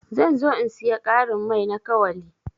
Zan zo in siya karin mai na kawali.